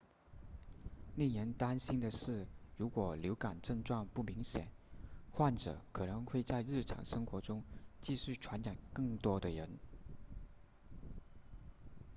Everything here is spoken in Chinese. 令人担心的是如果流感症状不明显患者可能会在日常生活中继续传染更多的人